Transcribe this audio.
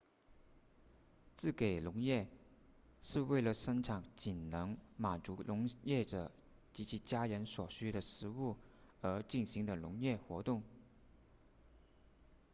自给农业是为了生产仅能满足农业者及其家人所需的食物而进行的农业活动